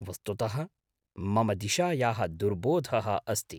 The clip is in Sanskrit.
वस्तुतः मम दिशायाः दुर्बोधः अस्ति।